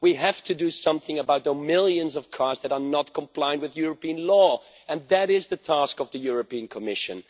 We have to do something about the millions of cars that are not complying with European law and that is the task of the Commission.